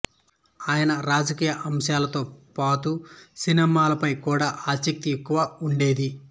ఆయనకు రాజకీయ అంశాలతోపాతు సినిమాలపై కూడా ఆసక్తి ఎక్కువ ఉండేది